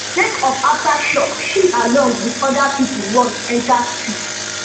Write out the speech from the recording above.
sake of aftershock she along wit oda pipo run enta street